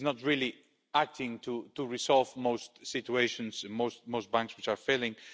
It is not really acting to resolve most situations and most banks which are failing.